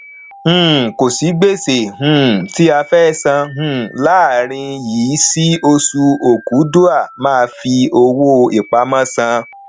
um kò sí gbèsè um tí a fẹ sàn um láàrin yìí sí oṣù ọkúdua má fi owó ipamọ san